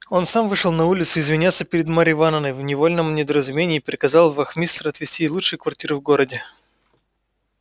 он сам вышел на улицу извиняться перед марьей ивановной в невольном недоразумении и приказал вахмистру отвести ей лучшую квартиру в городе